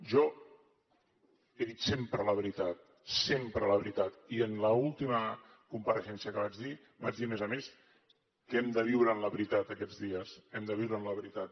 jo he dit sempre la veritat sempre la veritat i en l’última compareixença que vaig dir vaig dir a més a més que hem de viure en la veritat aquests dies hem de viure en la veritat